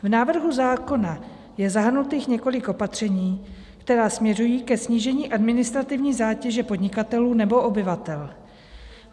V návrhu zákona je zahrnuto několik opatření, která směřují ke snížení administrativní zátěže podnikatelů nebo obyvatel.